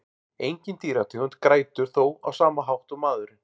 Engin dýrategund grætur þó á sama hátt og maðurinn.